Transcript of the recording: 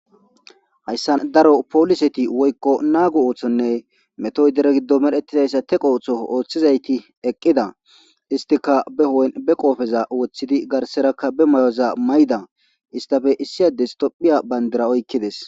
hayssa daro pooliseti woykko nago ooththonne mettoy dere giddon medhdhetidayssa teqqo ooththo ooththizayti eqqida istiika behu'en be qoofeza woththidi garserakka be mayoza mayda istafe issi ades tophphiya bandira oykkidees